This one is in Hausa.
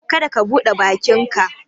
ka da ka bude bakinka